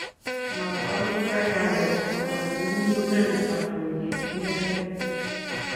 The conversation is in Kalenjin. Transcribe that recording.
Makwa Kiptaiyandet agochi mugulel abunji inendet